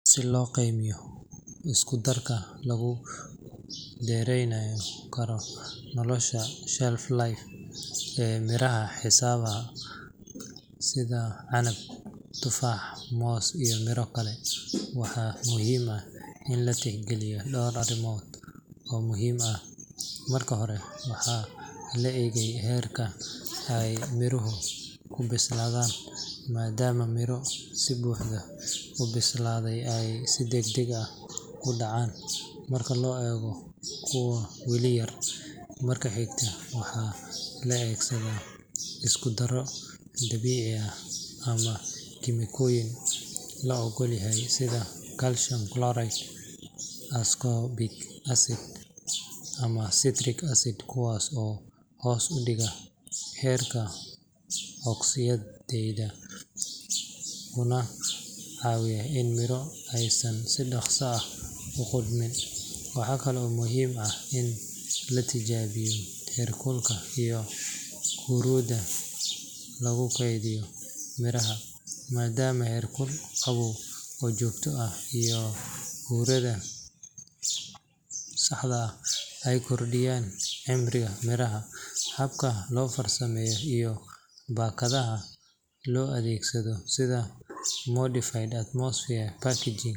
Si loo qiimeeyo isku darka lagu dheereyn karo nolosha shelf life ee miraha xiisaha sida canab, tufaax, moos iyo miro kale, waxaa muhiim ah in la tixgeliyo dhowr arrimood oo muhiim ah. Marka hore, waxaa la eegaa heerka ay miruhu ku bislaadaan, maadaama miro si buuxda u bislaaday ay si degdeg ah u dhacaan marka loo eego kuwa weli yar. Marka xiga, waxaa la adeegsadaa isku darro dabiici ah ama kiimikooyin la oggol yahay sida calcium chloride, ascorbic acid, ama citric acid kuwaas oo hoos u dhiga heerka oksaydhka kuna caawiya in miro aysan si dhaqso ah u qudhmin. Waxaa kale oo muhiim ah in la tijaabiyo heerkulka iyo huurada lagu kaydinayo miraha, maadaama heerkul qabow oo joogto ah iyo huurada saxda ah ay kordhiyaan cimriga miraha. Habka loo farsameeyo iyo baakadaha loo adeegsado, sida modified atmosphere packaging MAP.